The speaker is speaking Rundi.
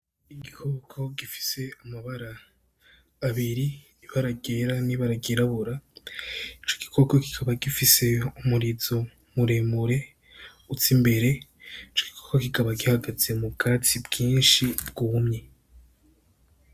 Igikoko gifise amabara abiri ibara ryera ni ryirabura, ico gikoko kikaba gifise umurizo muremure uza imbere, ico gikoko kikaba gihagaze mu bwatsi bwinshi bwumye.